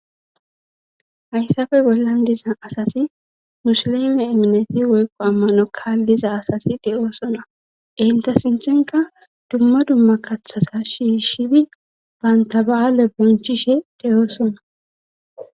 Hayssafe bollan diza asati musileme eminete woykqo ammano kaalliza asati de'oosona enta sinthenka dumma dumma kathasa shiishshibi banta ba'aale bonchishe deyoosona.